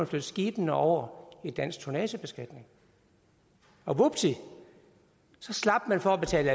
flytte skibene over i dansk tonnagebeskatning og vupti så slap man for at betale